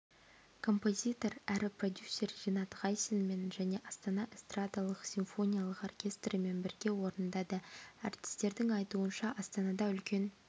композитор әрі продюсер ринат ғайсинмен және астана эстрадалық-симфониялық оркестрімен бірге орындады әртістердің айтуынша астанада үлкен